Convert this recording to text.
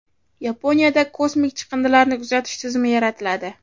Yaponiyada kosmik chiqindilarni kuzatish tizimi yaratiladi.